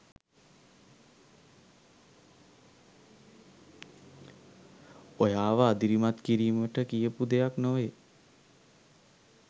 ඔයාව අදිරිමත් කිරීමට කියපු දෙයක් නොවේ.